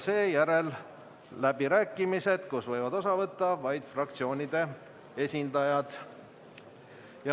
Seejärel on läbirääkimised, millest võivad osa võtta vaid fraktsioonide esindajad.